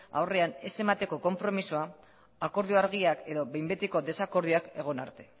aurrean ez emateko konpromisoa akordio argiak edo behin betiko desakordioak egon arte